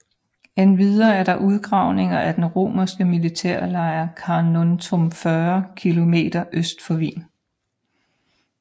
Endvidere er der udgravninger af den romerske militærlejr Carnuntum 40 km øst for Wien